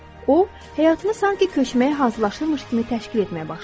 O, həyatını sanki köçməyə hazırlayırmış kimi təşkil etməyə başladı.